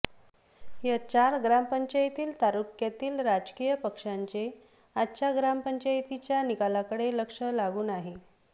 या चार ग्रामपंचायतील तालुक्यातील राजकीय पक्षांचे आजच्या ग्रामपंचायतीच्या निकालाकडे लक्ष लागून आहे